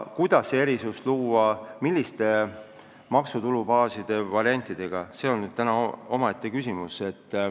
Kuidas see erisus luua, milliseid maksutulude baasi variante kasutades, see on omaette küsimus.